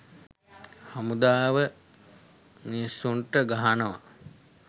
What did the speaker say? හමුදාව මිනිස්සුන්ට ගහනවා